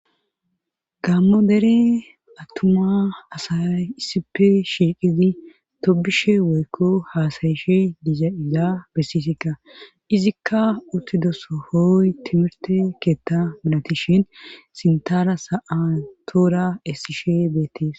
gaammo dere attuma asay issife shiiqidi tobishe woykko haasayishe diza izaa bessisikka izikka uttidoso hooy timirte keetta milatishin sintara sa7atoora essishe beettees